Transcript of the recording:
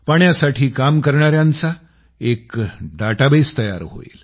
पाण्यासाठी काम करणाऱ्यांचा एक डाटाबेस तयार होईल